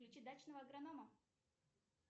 включи дачного агронома